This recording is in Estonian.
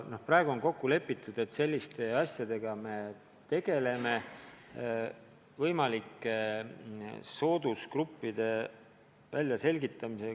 Praegu on kokku lepitud, et me tegeleme võimalike soodusgruppide väljaselgitamisega.